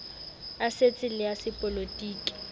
a setso le a sepolotiki